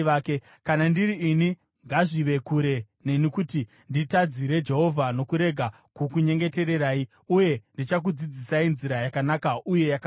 Kana ndiri ini, ngazvive kure neni kuti nditadzire Jehovha nokurega kukunyengetererai. Uye ndichakudzidzisai nzira yakanaka uye yakarurama.